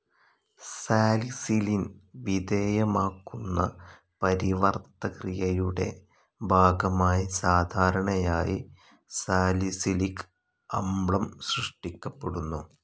സാലിസിലിൻ വിധേയമാക്കുന്ന പരിവർത്തക്രിയയുടെ ഭാഗമായി സാധാരണയായി സാലിസിലിക് അമ്ലം സൃഷ്ടിക്കപ്പെടുന്നു.